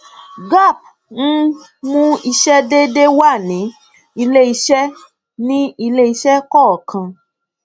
gaap ń mú ìṣe déédéé wá ní iléìṣẹ ní iléìṣẹ kọọkan